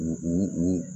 U u u